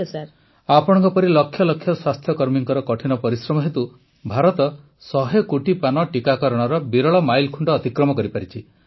ପ୍ରଧାନମନ୍ତ୍ରୀ ଆପଣଙ୍କ ପରି ଲକ୍ଷ ଲକ୍ଷ ସ୍ୱାସ୍ଥ୍ୟକର୍ମୀଙ୍କ କଠିନ ପରିଶ୍ରମ ହେତୁ ଭାରତ ଶହେ କୋଟି ପାନ ଟିକାକରଣର ବିରଳ ମାଇଲଖୁଂଟ ଅତିକ୍ରମ କରିପାରିଛି